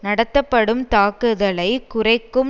நடத்தப்படும் தாக்குதலை குறைக்கும்